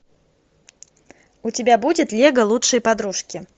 у тебя будет лего лучшие подружки